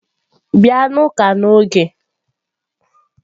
Bịa n'ụka n'oge!